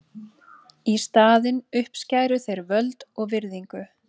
Í staðinn uppskæru þeir völd og virðingu.